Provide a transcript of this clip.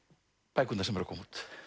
bækurnar sem eru að koma út